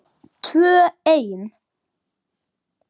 Tvö ein.